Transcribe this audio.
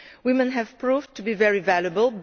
Women have proved to be very valuable